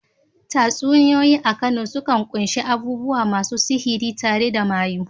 Tatsuniyoyi a Kano sukan kunshi abubuwa masu sihiri, tare da mayu.